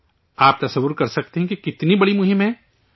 آپ تصور کر سکتے ہیں کہ کتنی بڑی مہم ہے